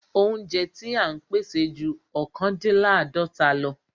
Óúnjẹ ti à ń pèsè ju ọ̀kándínláàdọ́ta lọ.